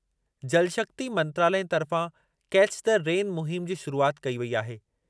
जल शक्ति मंत्रालयु तर्फ़ा 'कैच द रेन' मुहिमु जी शुरूआति कई वेई आहे।